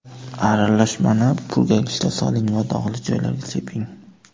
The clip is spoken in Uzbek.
Aralashmani purkagichga soling va dog‘li joylarga seping.